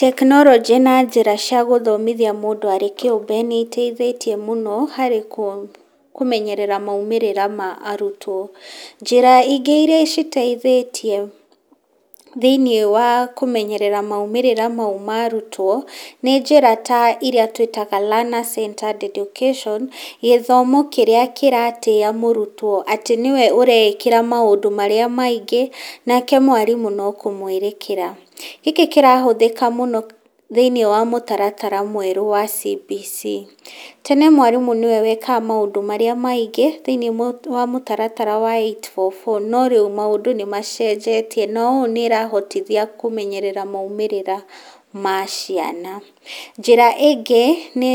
Tekinorojĩ na njĩra cia gũthomithia mũndũ arĩ kĩũmbe nĩ iteithĩtie mũno harĩ kũmenyerera maumĩrĩra ma arutwo. Njĩra ingĩ iria iteithĩtie thĩinĩ wa kũmenyerera maumĩrĩra mau ma arutwo nĩ njĩra ta iria twĩtaga learners centred education, gĩthomo kĩrĩa kĩratĩa mũrutwo atĩ nĩwe ũreĩkĩra maũndũ marĩa maingĩ, nake mwarimũ no kũmwerekera, gĩkĩ kĩrahũthĩka mũno thĩinĩ wa mũtaratara mwerũ wa CBC. Tene mwarimũ nĩwe wekaga maũndũ marĩa maingĩ thĩinĩ wa mũtaratara wa eight four four no rĩu maũndũ nĩ macenjetie na ũũ nĩ ĩrahotithia kũmenyerera maumĩrĩra ma ciana. Njĩra ĩngĩ nĩ